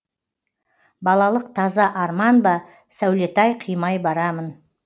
балалық таза арман ба сәулетай қимай барамын